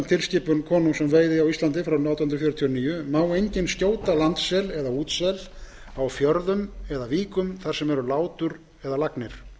selaskoðunar þar sem aðstæður henta samkvæmt gildandi lögum má enginn skjóta landsel eða útsel á fjörðum eða víkum þar sem eru látur eða lagnir